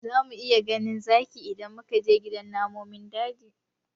Za mu iya ganin zaki idan muka je gidan namun daji